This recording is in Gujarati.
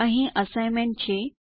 અહીં અસાઇનમેન્ટ છે